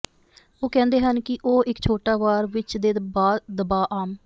ਉਹ ਕਹਿੰਦੇ ਹਨ ਕਿ ਉਹ ਇੱਕ ਛੋਟਾ ਵਾਰ ਵਿੱਚ ਦੇ ਦਬਾਅ ਆਮ